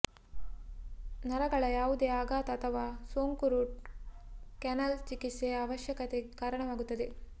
ನರಗಳ ಯಾವುದೇ ಆಘಾತ ಅಥವಾ ಸೋಂಕು ರೂಟ್ ಕ್ಯಾನಾಲ್ ಚಿಕಿತ್ಸೆಯ ಅವಶ್ಯಕತೆಗೆ ಕಾರಣವಾಗುತ್ತದೆ